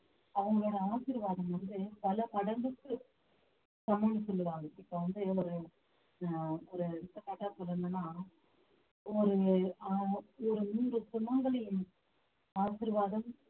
அவங்களோட ஆசிர்வாதம் வந்து பல மடங்குக்கு சமம்ன்னு சொல்லுவாங்க இப்ப வந்து ஒரு ஆஹ் ஒரு எடுத்துக்காட்டா சொல்லணும்ன்னா ஒரு ஆஹ் ஒரு மூன்று சுமங்கலி ஆசீர்வாதம்